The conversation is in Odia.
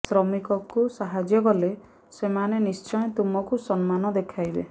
ଶ୍ରମିକଙ୍କୁ ସାହାଯ୍ୟ କଲେ ସେମାନେ ନିଶ୍ଚୟ ତୁମକୁ ସମ୍ମାନ ଦେଖାଇବେ